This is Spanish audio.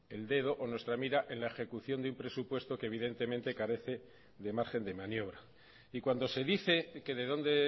el dedo o nuestra mira en la ejecución de un presupuesto que evidentemente carece de margen de maniobra y cuando se dice que de dónde